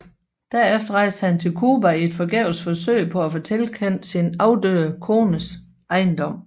Derefter rejste han til Cuba i et forgæves forsøg på at få tilkendt sin afdøde kones ejendom